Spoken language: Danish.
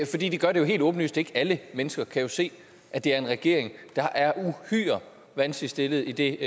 det gør det jo helt åbenlyst ikke alle mennesker kan se at det er en regering der er uhyre vanskeligt stillet i det